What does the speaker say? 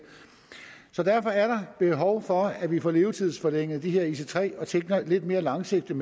derfor er der behov for at vi får levetidsforlænget de her ic3 tog og tænker lidt mere langsigtet